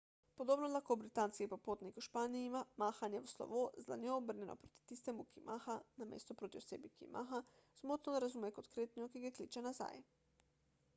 podobno lahko britanski popotnik v španiji mahanje v slovo z dlanjo obrnjeno proti tistemu ki maha namesto proti osebi ki ji maha zmotno razume kot kretnjo ki ga kliče nazaj